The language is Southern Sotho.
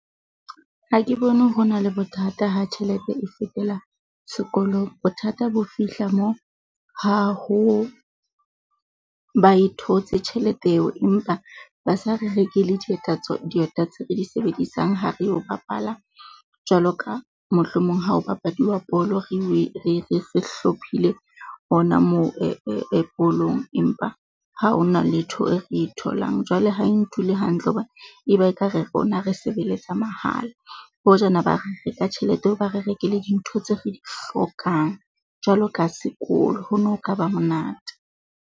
Ha ke bone ho na le bothata ha tjhelete e fetela sekolong. Bothata bo fihla moo ha ho, ba e thotse tjhelete eo, empa ba sa re rekele dieta tsa dieta tse di sebedisang ha reo bapala jwalo ka, mohlomong ha ho bapadiwa bolo, re se hlophile hona moo bolong. Empa ha ho na letho re e tholang jwale ha e ntuli hantle, tlo bona e ba ekare rona re sebeletsa mahala. Hojana ba re re ka tjhelete eo, ba re rekele dintho tse re di hlokang jwalo ka sekolo. Ho no kaba monate.